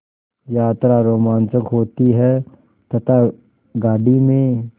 यात्रा रोमांचक होती है तथा गाड़ी में